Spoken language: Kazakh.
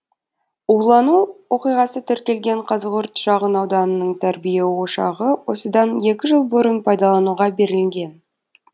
улану оқиғасы тіркелген қазығұрт шағын ауданының тәрбие ошағы осыдан екі жыл бұрын пайдалануға берілген